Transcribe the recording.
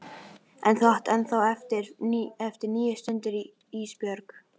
Þú átt ennþá eftir níu stundir Ísbjörg.